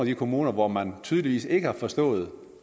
de kommuner hvor man tydeligvis ikke har forstået